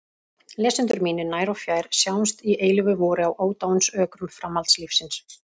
Lesendur mínir nær og fjær, sjáumst í eilífu vori á ódáinsökrum framhaldslífsins!